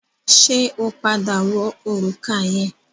Ṣẹ́ ó padà wọ òrùka yẹn?